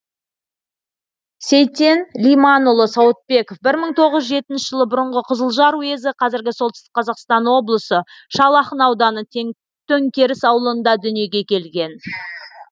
сейтен лиманұлы сауытбеков бір мың тоғыз жүз жетінші жылы бұрынғы қызылжар уезі қазіргі солтүстік қазақстан облысы шал ақын ауданы төңкеріс ауылында дүниеге келген